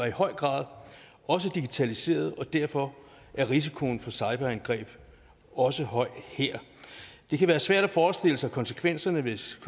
i høj grad også digitaliseret og derfor er risikoen for cyberangreb også høj her det kan være svært at forestille sig konsekvenserne hvis